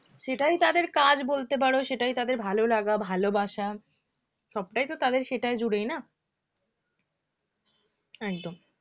সেটাই তাদের কাজ বলতে পারো সেটাই তাঁদের ভালোলাগা ভালোবাসা সবটাই তো তাঁদের সেটা জুড়েই না একদম